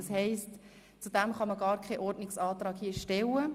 Es ist demnach gar nicht möglich, dazu einen Ordnungsantrag zu stellen.